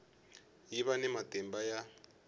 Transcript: yi va ni matimba ya